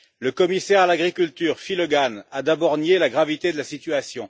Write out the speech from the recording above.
Le commissaire à l'agriculture, Phil Hogan, a d'abord nié la gravité de la situation.